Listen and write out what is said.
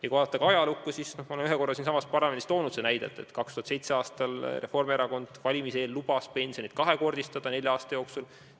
Ja kui vaadata ajalukku, siis ma olen ühel korral siinsamas parlamendis selle näite juba toonud, et 2007. aastal lubas Reformierakond enne valimisi pensioni kahekordistada nelja aasta jooksul.